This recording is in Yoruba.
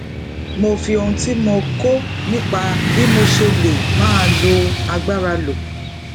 mo fi ohun tí mo kó nípa bí mo ṣe lè máa lo agbára lò